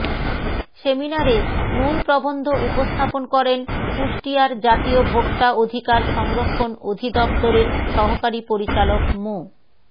সেমিনারে মূল প্রবন্ধ উপস্থাপন করেন কুষ্টিয়ার জাতীয় ভোক্তা অধিকার সংরক্ষণ অধিদপ্তরের সহকারি পরিচালক মো